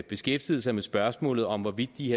beskæftiget sig med spørgsmålet om hvorvidt de